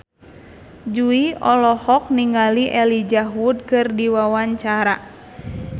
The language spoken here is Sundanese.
Jui olohok ningali Elijah Wood keur diwawancara